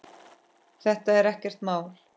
Þetta er ekkert mál.